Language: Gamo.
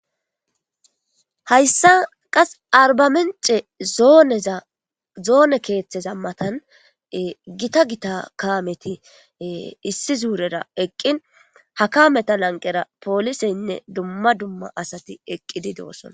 Hayisa qas aribamiche zoneza kethaza matani gitta gitta kameti issi zurera eqini ha kameta laniqera poliseti asati eqidosona